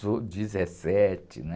dezessete, né?